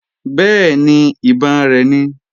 Bẹ́ẹ̀ni, ìbọn rẹ̀ ni